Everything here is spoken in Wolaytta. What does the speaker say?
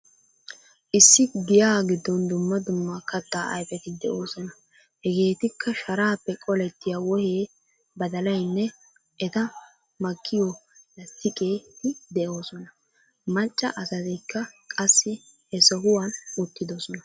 Issi giyaa giddon dumma dumma katta ayfeti de'oosona. Hegeetikka sharaappe qolettiya wohee, badalaynne eta makkiyo lasttiqeti de'oosona. Macca asatikka qassi he sohuwan uttidoosona.